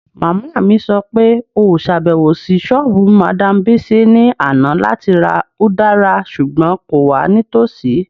Mama mi sọ pe o ṣabẹwo si soobu Madam Bisi ni ana lati ra udara ṣugbọn ko wa nitosi